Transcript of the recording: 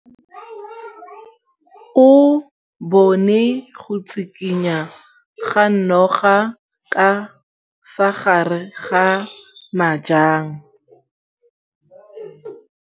O bone go tshikinya ga noga ka fa gare ga majang.